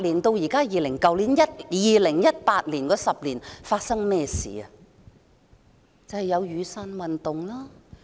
但是 ，2008 年至去年2018年10年間發生了甚麼事？